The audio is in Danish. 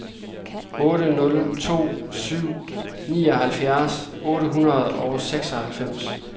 otte nul to syv nioghalvfjerds otte hundrede og seksoghalvfems